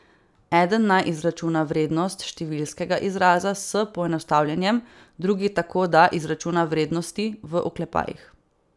Eden naj izračuna vrednost številskega izraza s poenostavljanjem, drugi tako, da izračuna vrednosti v oklepajih.